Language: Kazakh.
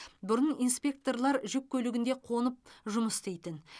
бұрын инспекторлар жүк көлігінде қонып жұмыс істейтін